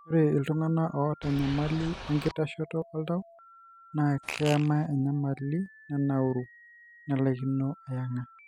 ore iltungana oata enyamali enkitashoto oltau na keema enyamali nenauru nelaikino ayenga.